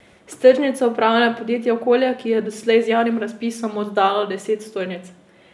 S tržnico upravlja podjetje Okolje, ki je doslej z javnim razpisom oddalo deset stojnic.